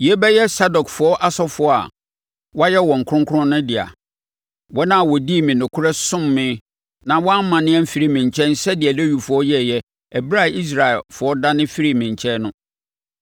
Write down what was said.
Yei bɛyɛ Sadokfoɔ asɔfoɔ a wɔayɛ wɔn kronkron no dea, wɔn a wɔdii me nokorɛ somm me na wɔannane amfiri me nkyɛn sɛdeɛ Lewifoɔ yɛeɛ ɛberɛ a Israelfoɔ dane firii me nkyɛn no.